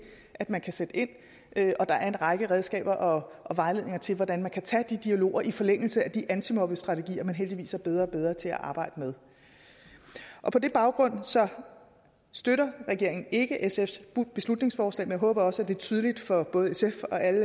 at man kan sætte ind og der er en række redskaber og og vejledninger til hvordan man kan tage de dialoger i forlængelse af de antimobningsstrategier man heldigvis er blevet bedre og bedre til at arbejde med på den baggrund støtter regeringen ikke sfs beslutningsforslag men jeg håber også at det er tydeligt for både sf og alle